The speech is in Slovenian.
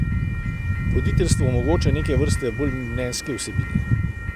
Voditeljstvo omogoča neke vrste bolj mnenjske vsebine.